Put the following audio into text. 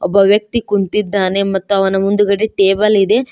ಒಬ್ಬ ವ್ಯಕ್ತಿ ಕುಂತಿದ್ದಾನೆ ಮತ್ತು ಅವನ ಮುಂದಗಡೆ ಟೇಬಲ್ ಇದೆ.